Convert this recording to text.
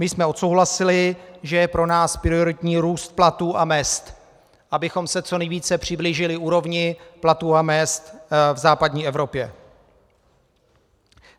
My jsme odsouhlasili, že je pro nás prioritní růst platů a mezd, abychom se co nejvíce přiblížili úrovni platů a mezd v západní Evropě.